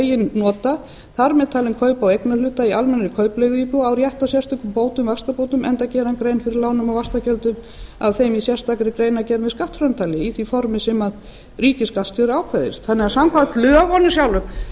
eigin nota þar með talin kaup á eignarhluta í almennri kaupleiguíbúð á rétt á sérstökum bótum vaxtabótum enda geri hann grein fyrir lánum og vaxtagjöldum af þeim í sérstakri greinargerð með skattframtali í því formi sem ríkisskattstjóri ákveður þannig að samkvæmt lögunum sjálfum hef ég